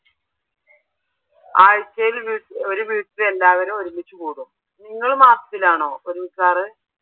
ആഴ്ചയിൽ ഒരു വീട്ടിൽ ഒരുമിച്ച് കൂടും നിങ്ങൾ മാസത്തിലാണോ ഒരുമിക്കാറ്?